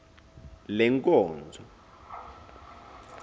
lenkonzo